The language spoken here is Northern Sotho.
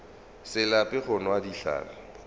se lape go nwa dihlare